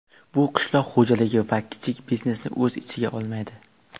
Bu qishloq xo‘jaligi va kichik biznesni o‘z ichiga olmaydi.